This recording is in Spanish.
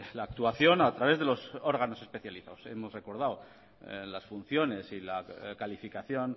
la actuación a través de los órganos especializados hemos recordado las funciones y la calificación